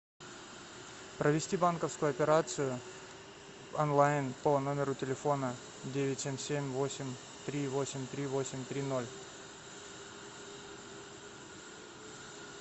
провести банковскую операцию онлайн по номеру телефона девять семь семь восемь три восемь три восемь три ноль